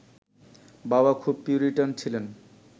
বাবা খুব পিউরিটান ছিলেন